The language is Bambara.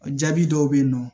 Jaabi dɔw be yen nɔ